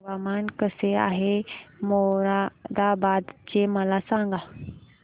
हवामान कसे आहे मोरादाबाद चे मला सांगा